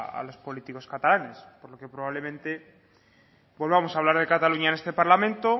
a los políticos catalanes por lo que probablemente volvamos a hablar de cataluña en este parlamento